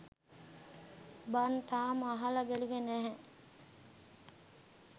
බන් තාම අහල බැලුවෙ නැහැ